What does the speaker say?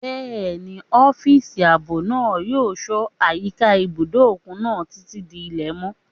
Bẹ́ẹ̀ni, ọ́físà ààbò náà yóò ṣọ́ àyíká ibùdó òkun náà títí di ilẹ̀ mọ́